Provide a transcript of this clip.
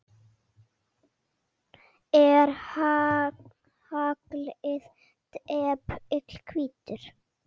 Er haglið depill hvítur?